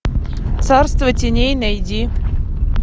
царство теней найди